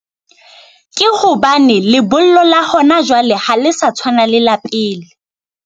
Ke hobane lebollo la hona jwale ha le sa tshwana le la pele.